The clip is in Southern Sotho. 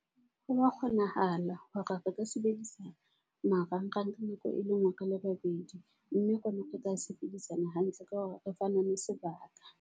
Ho wa kgonahala hore re ka sebedisa marang-rang ka nako e le ngwe re le babedi. Mme rona re tla sebedisana hantle ka hore re fanane sebaka.